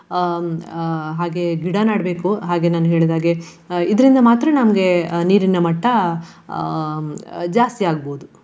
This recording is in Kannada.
ಹ್ಮ್ ಹಾ ಹಾಗೆಯೇ ಗಿಡ ನೆಡ್ಬೇಕು. ಹಾಗೆ ನಾನು ಹೇಳಿದಾಗೆ ಇದ್ರಿಂದ ಮಾತ್ರ ನಮ್ಗೆ ನೀರಿನ ಮಟ್ಟ ಹ್ಮ್ ಜಾಸ್ತಿಯಾಗ್ಬಹುದು.